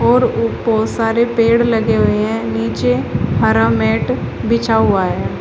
और सारे पेड़ लगे हुए हैं नीचे हरा मैट बिछा हुआ है।